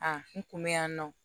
A n kun be yan nɔ